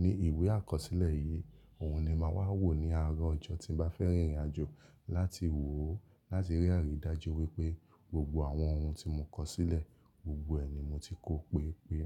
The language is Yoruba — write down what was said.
Ní ìwé àkọsílẹ̀ yìí, òhun ni màá wà wò ní àárọ̀ ọjọ́ tí n bá fẹ́ rìn ìrìnàjò láti wò ó láti rí àríí dájú wípé gbogbo àwọn ohun tí mo kọ̀ sílẹ̀ gbogbo ẹ̀ ni mo ti kó pé pé.